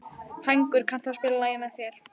Hængur, kanntu að spila lagið „Með þér“?